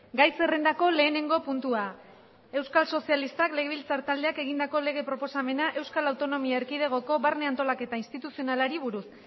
gai zerrendako lehenengo puntua euskal sozialistak legebiltzar taldeak egindako lege proposamena euskal autonomia erkidegoko barne antolaketa instituzionalari buruz